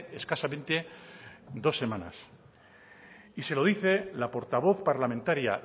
escasamente dos semanas y se lo dice la portavoz parlamentaria